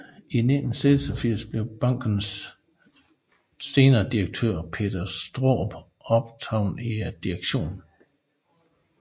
I 1986 blev bankens senere direktør Peter Straarup optaget i direktionen